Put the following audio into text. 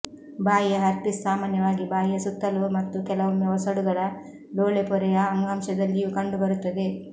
ಬಾಯಿಯ ಹರ್ಪಿಸ್ ಸಾಮಾನ್ಯವಾಗಿ ಬಾಯಿಯ ಸುತ್ತಲೂ ಮತ್ತು ಕೆಲವೊಮ್ಮೆ ಒಸಡುಗಳ ಲೋಳೆಪೊರೆಯ ಅಂಗಾಂಶದಲ್ಲಿಯೂ ಕಂಡುಬರುತ್ತದೆ